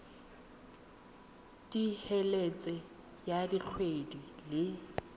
t helete ya kgwedi le